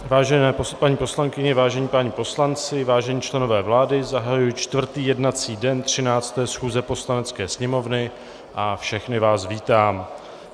Vážené paní poslankyně, vážení páni poslanci, vážení členové vlády, zahajuji čtvrtý jednací den 13. schůze Poslanecké sněmovny a všechny vás vítám.